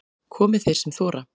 Komi þeir sem þora